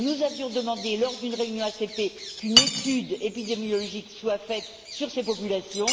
Nous avions demandé, lors d'une réunion ACP, qu'une étude épidémiologique soit menée sur ces populations.